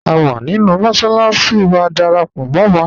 À wà nínu mọ́ṣaláṣi, wà dáràpọ̀ mọ́ wa